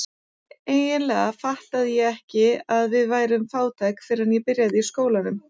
Eiginlega fattaði ég ekki að við værum fátæk fyrr en ég byrjaði í skólanum.